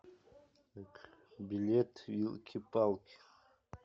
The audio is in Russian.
билет вилки палки